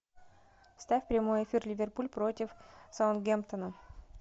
ставь прямой эфир ливерпуль против саутгемптона